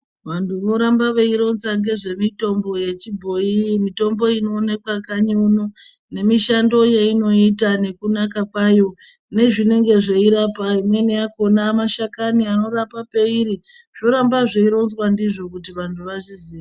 Vantu vorambe veyironza ngezvemitombo yechibhoyi. Mitombo inowonekwa kanyi uno nemishando yeyinoita nekunaka kwayo nezvinenge zveyirapa. Imweni yakhona, mashakani anorapa peyiri. Zvoramba zvironzwa ndizvo kuti vantu vazviziye.